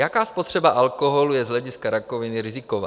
Jaká spotřeba alkoholu je z hlediska rakoviny riziková?